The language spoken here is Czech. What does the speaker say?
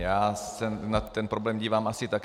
Já se na ten problém dívám asi tak.